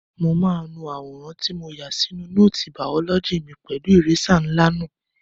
Mo máa nu àwòrán tí mo yà sínú nóòtì bàọ́lọ́jì mi pẹ̀lú ìrésà ńlá náà.